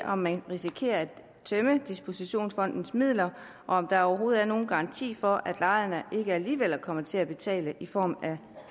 om man risikerer at tømme dispositionfonden for midler og om der overhovedet er nogen garanti for at lejerne ikke alligevel kommer til at betale i form af